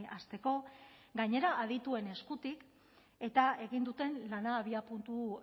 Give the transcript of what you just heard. hasteko gainera adituen eskutik eta egin duten lana abiapuntu